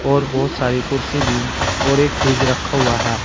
और बहोत सारी कुर्सी भी और एक फ्रिज रखा हुआ है।